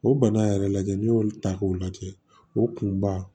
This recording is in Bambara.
O bana yɛrɛ lajɛ n'i y'olu ta k'u lajɛ o kunba